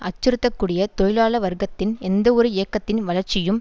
அச்சுறுத்தக்கூடிய தொழிலாள வர்க்கத்தில் எந்தவொரு இயக்கத்தின் வளர்ச்சியும்